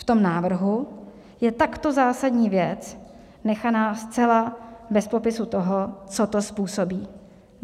V tom návrhu je takto zásadní věc nechaná zcela bez popisu toho, co to způsobí.